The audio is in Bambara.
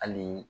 Hali